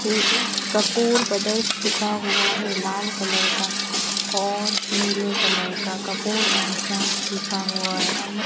ये एक कपूर ब्रदर्स लिखा हुआ है लाल कलर का और नीले कलर का कपूर एंड संस लिखा हुआ है अंदर --